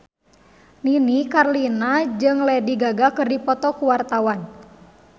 Nini Carlina jeung Lady Gaga keur dipoto ku wartawan